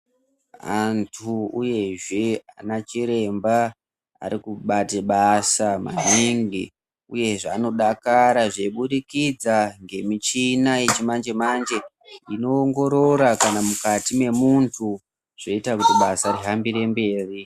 Antu uyezve anachiremba arikubate basa maningi uyezve anodakarazve kubudikidza ngemichina yechimanje manje inoongorora kunyangwe mukati mwemunhu zvinoita kuti basa rihambire mberi.